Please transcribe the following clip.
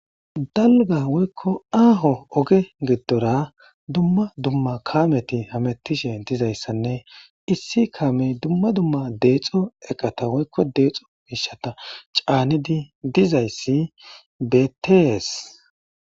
Dalga woykko aaho oge giddora dumma dumma kaameti hamettishe dizayssanne issi kaamey dumma dumma deexo eqata woykko deexo miishata caanidi dizayssi betees.